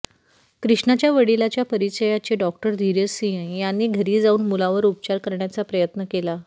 कृष्णाच्या वडिलाच्या परिचयाचे डॉ धीरज सिंह यांनी घरी जाऊन मुलावर उपचार करण्याचा प्रयत्न केला